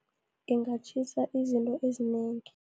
Ingatjhisa izinto ezinengi.